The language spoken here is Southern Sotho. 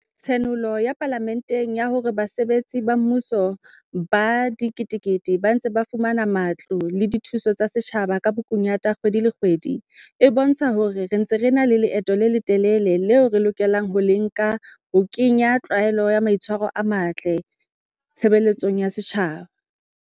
Tshenolo ya Pala menteng ya hore basebetsi ba mmu so ba diketekete ba ntse ba fumana matlole a dithuso tsa setjhaba ka bokunyata kgwedi le kgwedi e bo ntsha hore re ntse re sa na le leeto le le telele leo re lokelang ho le nka ho ke nya tlwaelo ya maitshwa ro a matle tshebeletsong ya setjhaba.